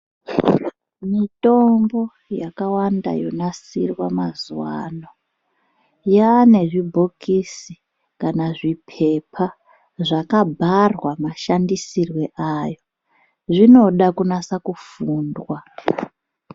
Mitombo yawanda yonasirwa yane zvibhokisi kana zvipepa zvakabharwa mashandisirwo ayo. Zvinoda kunasa kufundwa.